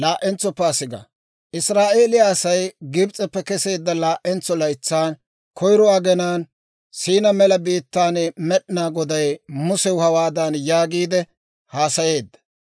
Israa'eeliyaa Asay Gibs'eppe keseedda laa"entso laytsan koyiro agenaan Siinaa Mela biittaan Med'inaa Goday Musew hawaadan yaagiide haasayeedda;